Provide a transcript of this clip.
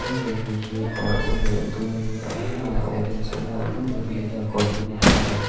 hnung leh ami hi kawr eng leh dum ania a hnung leh a orange ania a hnung ber ami hian kawr dum a ha ani.